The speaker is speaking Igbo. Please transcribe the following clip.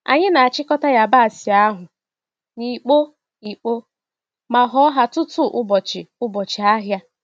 Anyi n'achịkọta yabasị ahụ n'ikpo ikpo ma họ ha tutu ụbọchị ụbọchị ahịa.